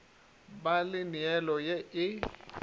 ba le neelo ye e